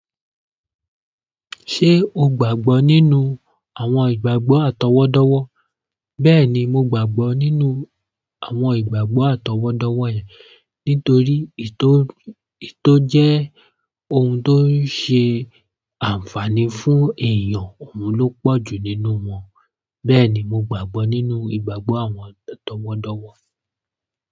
Ṣé o gbàgbọ́ nínú àwọn ìgbàgbọ́ àtọwọ́dọ́wọ́? Bẹ́ẹ̀ni, mo gbàgbọ́ nínú àwọn ìgbàgbọ́ àtọwọ́dọ́wọ́ nítorí ètò jẹ́ ohun tó ṣe àǹfààní fún èèyàn, òun ló pọ̀jù nínú wọn. Bẹ́ẹ̀ni, mo gbàgbọ́ nínú ìgbàgbọ́ àwọn àtọwọ́dọ́wọ́.